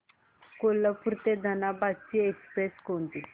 कोल्हापूर ते धनबाद ची एक्स्प्रेस कोणती